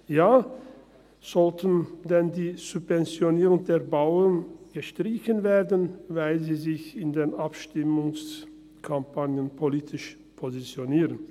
Ja, sollten denn die Subventionen für die Bauern gestrichen werden, weil sie sich in Abstimmungskampagnen politisch positionieren?